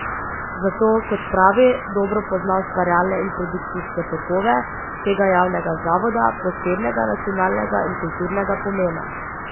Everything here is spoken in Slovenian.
Zato, kot pravi, dobro pozna ustvarjalne in produkcijske tokove tega javnega zavoda posebnega nacionalnega in kulturnega pomena.